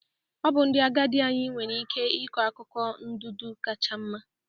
Ọ bụ ndị agadi anyị nwere ike ịkọ akụkọ ndụdụ kacha mma